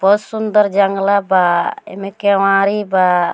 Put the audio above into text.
बहुत सुंदर जंगला बा एमे केवाड़ी बा।